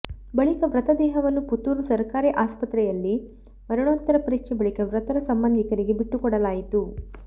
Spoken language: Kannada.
ಬಳಿಕ ಮೃತ ದೇಹವನ್ನು ಪುತ್ತೂರು ಸರಕಾರಿ ಅಸ್ಪತ್ರೆಯಲ್ಲಿ ಮರಣೋತ್ತರ ಪರೀಕ್ಷೆ ಬಳಿಕ ಮೃತರ ಸಂಬಂಧಿಕರಿಗೆ ಬಿಟ್ಟು ಕೊಡಲಾಯಿತು